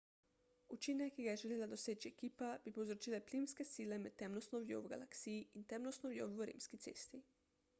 učinek ki ga je želela doseči ekipa bi povzročile plimske sile med temno snovjo v galaksiji in temno snovjo v rimski cesti